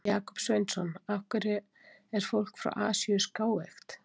Jakob Sveinsson: Af hverju er fólk frá Asíu skáeygt?